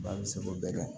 Ba bɛ se k'o bɛɛ kɛ